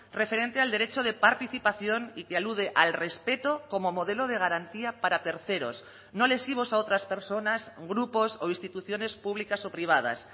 referente al derecho de participación y que alude al respeto como modelo de garantía para terceros no lesivos a otras personas grupos o instituciones públicas o privadas